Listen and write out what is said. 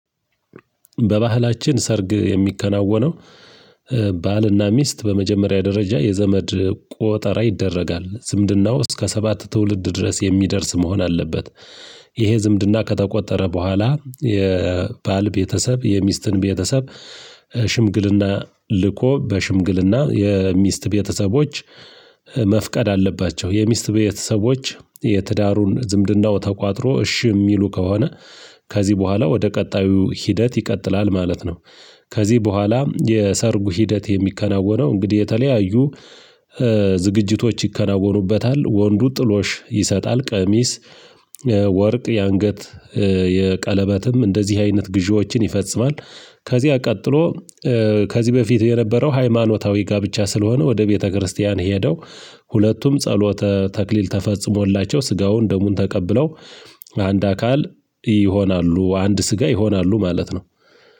በባህላችን ሰርግ የሚከናወነው ባልና ሚስት በመጀመሪያ ደረጃ የዘመድ ቆጠራ ይደረጋል። ዝምድናው እስከ ሰባት ትውልድ ድረስ የሚደርስ መሆን አለበት። ይሄ ዝምድና ከተቆጠረ በኋላ የባል ቤተሰብ የሚስትን ቤተሰብ ሽምግልና ልኮ በሽምግልና የሚስት ቤተሰቦች መፍቀድ አለባቸው። የሚስት ቤተሰቦች የትዳሩን ዝምድናው ተቋጥሮ እሺ የሚሉ ከሆነ ከዚህ በኋላ ወደ ቀጣዩ ሂደት ይቀጥላል ማለት ነው። ከዚህ በኋላ የሰርጉ ሂደት የሚከናወነው እንግዲህ የተለያዩ ዝግጅቶች ይከናወኑበታል። ወንዱ ጥሎሽ ይሰጣል ቀሚስ፣ ወርቅ የአንገት፣ የቀለበትም እንደዚህ አይነት ግዢዎችን ይፈጽማል። ከዚያ ቀጥሎ ከዚህ በፊት የነበረው ሃይማኖታዊ ጋብቻ ስለሆነ ወደ ቤተክርስቲያን ሄደው ሁለቱም ጸሎተ ተክሊል ተፈጽሞላቸው ስጋውን ደሙን ተቀብለው አንድ አካል ይሆናሉ። አንድ ስጋ ይሆናሉ ማለት ነው።